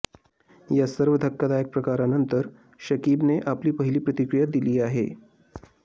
या सर्व धक्कादायक प्रकारानंतर शकीबने आपली पहिली प्रतिक्रीया दिली आहे